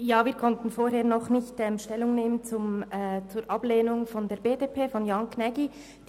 Wir konnten vorhin noch nicht Stellung zum Ablehnungsantrag der BDP-Fraktion von Jan Gnägi nehmen.